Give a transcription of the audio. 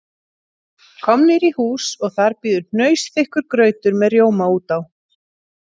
Komnir í hús og þar bíður hnausþykkur grautur með mjólk út á